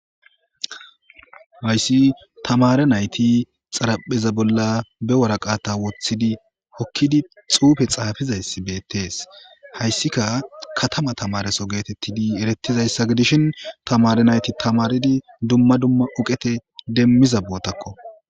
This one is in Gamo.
hayssi tamare nayti xarapheza bolla be waraqata woththidi hokkidi xuufe xaafizayssi beettees hayssika katama tamareso geetettidi erettizayssa gidishin tamare nayti tamaridi dumma dumma oqete demmiza bootakko